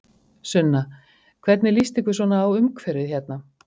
Sunna: Hvernig lýst ykkur svona á umhverfið hérna?